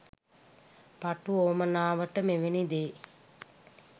පටු උවමනාවට මෙවනි දේ